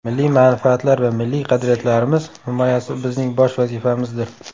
Milliy manfaatlar va milliy qadriyatlarimiz himoyasi bizning bosh vazifamizdir.